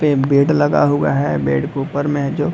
पे बेड लगा हुआ है। बेड के ऊपर में है जो --